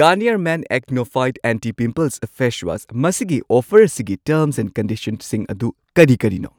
Garnier Men Acno Fight anti pimples face wash ꯃꯁꯤꯒꯤ offer ꯑꯁꯤꯒꯤ terms and ꯀꯟꯗꯤꯁꯟꯁꯤꯡ ꯑꯗꯨ ꯀꯔꯤ ꯀꯔꯤꯅꯣ?